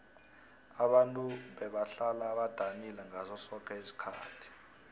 ababntu bebahlala badanile ngaso soke isikhathi